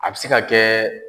A bɛ se ka kɛ